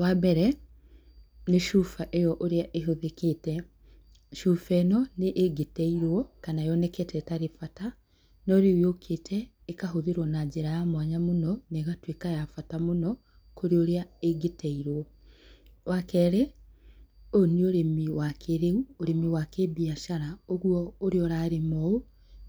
Wa mbere, nĩ cuba ĩyo ũrĩa ĩhũthĩkĩte, cuba ĩno nĩ ĩngĩteirwo, kana yoneke ta ĩtarĩ bata, no rĩu yũkĩte ĩkahũthĩrwo na njĩra ya mwanya mũno, na ĩgatuĩka ya bata mũno, kũrĩ ũrĩa ĩngĩteirwo. Wakerĩ, ũyũ nĩ ũrĩmi wa kĩĩrĩu, ũrĩmi wa kĩmbiacara, ũguo ũrĩa ũrarĩma ũũ,